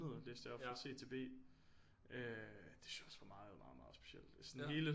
Fra C til B det synes jeg også var meget meget meget specielt sådan hele